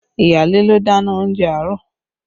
Iyaale ló dáná oúnjẹ àárọ̀